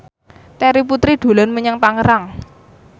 Terry Putri dolan menyang Tangerang